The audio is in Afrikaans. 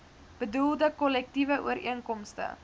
bedoelde kollektiewe ooreenkomste